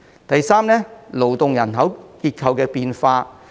第三，是勞動人口結構的變化。